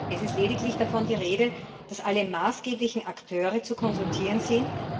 Im Bericht ist lediglich davon die Rede, dass alle maßgeblichen Akteure zu konsultieren sind.